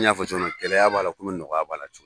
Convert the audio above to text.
N y'a fɔ cogo min gɛlɛya b'a la komi nɔgɔya b'a la